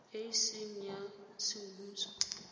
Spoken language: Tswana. e e seng ya semmuso